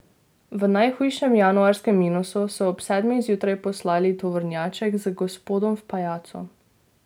V najhujšem januarskem minusu so ob sedmih zjutraj poslali tovornjaček z gospodom v pajacu.